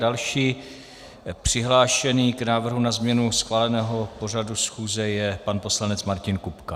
Další přihlášený k návrhu na změnu schváleného pořadu schůze je pan poslanec Martin Kupka.